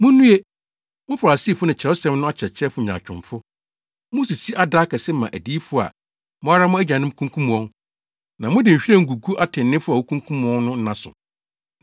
“Munnue! Mo Farisifo ne Kyerɛwsɛm no akyerɛkyerɛfo nyaatwomfo! Musisi ada akɛse ma adiyifo a mo ara mo agyanom kunkum wɔn, na mode nhwiren gugu atreneefo a wokunkum wɔn no nna so,